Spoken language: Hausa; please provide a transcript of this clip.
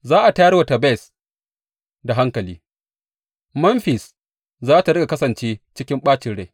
Za a tayar wa Tebes da hankali; Memfis za tă riƙa kasance cikin ɓacin rai.